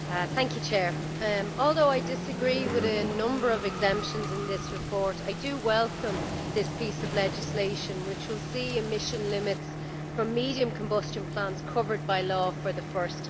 Madam President, although I disagree with a number of exemptions in this report, I do welcome this piece of legislation, which will see emission limits for medium combustion plants covered by law for the first time.